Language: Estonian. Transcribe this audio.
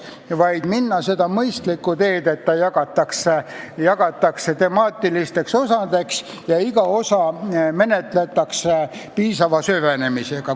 Minu meelest tuleks minna seda mõistlikku teed, et see eelnõu jagatakse temaatilisteks osadeks ja iga osa menetletakse piisava süvenemisega.